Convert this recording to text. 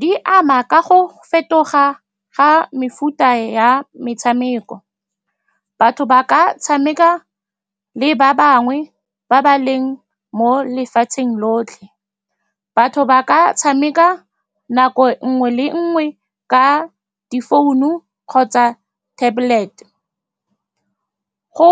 Di ama ka go fetoga ga mefuta ya metshameko. Batho ba ka tshameka le ba bangwe ba ba leng mo lefatsheng lotlhe. Batho ba ka tshameka nako nngwe le nngwe ka difounu kgotsa tablet-e. Go